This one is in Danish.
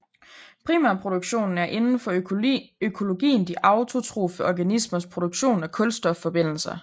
Primærproduktionen er inden for økologien de autotrofe organismers produktion af kulstofforbindelser